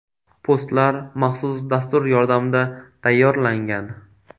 Postlar maxsus dastur yordamida tayyorlangan.